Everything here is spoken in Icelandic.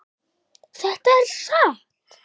Þetta er satt.